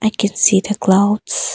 I can see the clouds.